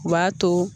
U b'a to